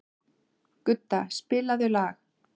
Gudda, spilaðu lag.